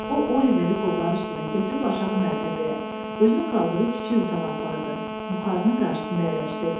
O Oliveri qolları üstünə götürüb aşağı mərtəbəyə, özünün qaldığı kiçik otağa apardı, buxarının qarşısında əyləşdirdi.